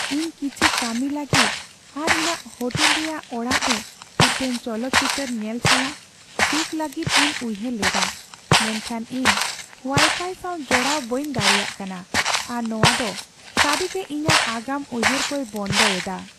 ᱤᱧ ᱠᱤᱪᱷᱤ ᱠᱟᱹᱢᱤ ᱞᱟᱹᱜᱤᱫ ᱟᱨ ᱤᱧᱟᱹᱜ ᱦᱳᱴᱮᱞ ᱨᱮᱭᱟᱜ ᱚᱲᱟᱜ ᱨᱮ ᱢᱤᱫᱴᱟᱝ ᱪᱚᱞᱚᱛ ᱪᱤᱛᱟᱹᱨ ᱧᱮᱞ ᱥᱟᱞᱟᱜ ᱥᱩᱠ ᱞᱟᱹᱜᱤᱫ ᱤᱧ ᱩᱭᱦᱟᱹᱨ ᱞᱮᱫᱟ, ᱢᱮᱱᱠᱷᱟᱱ ᱤᱧ ᱳᱣᱟᱭᱯᱷᱟᱭ ᱥᱟᱶ ᱡᱚᱲᱟᱣ ᱵᱟᱹᱧ ᱫᱟᱲᱮᱹᱭᱟᱜ ᱠᱟᱱᱟ, ᱟᱨ ᱱᱚᱣᱟ ᱫᱚ ᱥᱟᱹᱨᱤᱜᱮ ᱤᱧᱟᱹᱜ ᱟᱜᱟᱢ ᱩᱭᱦᱟᱹᱨ ᱠᱚᱭ ᱵᱚᱱᱫᱚ ᱮᱫᱟ ᱾